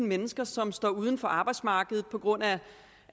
mennesker som står uden for arbejdsmarkedet på grund af